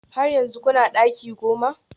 Har yanzu kuna daki goma?